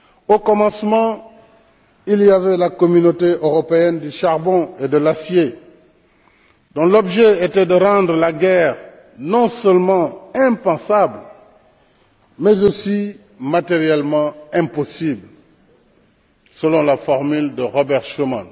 Au commencement, il y avait la Communauté européenne du charbon et de l'acier, dont l'objet était de rendre la guerre non seulement impensable mais aussi matériellement impossible, selon la formule de Robert Schuman.